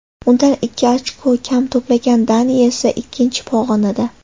Undan ikki ochko kam to‘plagan Daniya esa ikkinchi pog‘onada.